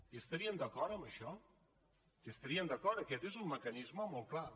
hi estarien d’acord amb això hi estarien d’acord aquest és un mecanisme molt clar